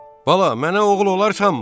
Bala, mənə oğul olarsanmı?